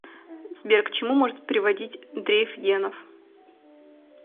сбер к чему может приводить дрейф генов